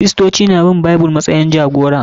Kiristoci na bin Bible matsayin jagora